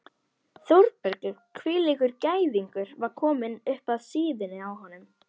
Þórbergur hvílíkur gæðingur var kominn upp að síðunni á honum?